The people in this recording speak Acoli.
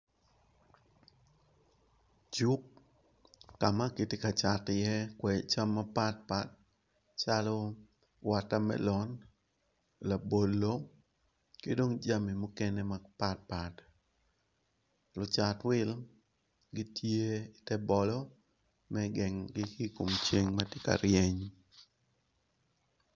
Cuk kama kitye ka cato i ye kodi cam mapat pat calo water melon labolo kidong jami mukene mapat pat lucat wil gitye i tebolo me gengo gi ikom ceng matye ka ryeny.